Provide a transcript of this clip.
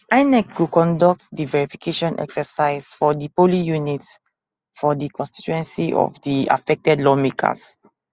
inec go conduct di verification exercise for di polling units for di constituency of di affected lawmakers